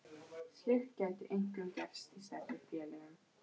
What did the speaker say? Slíkt gæti einkum gerst í stærri félögum.